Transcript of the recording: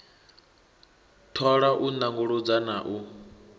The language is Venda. thola u nanguludza na u